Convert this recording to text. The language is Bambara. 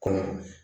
Kɔnɔ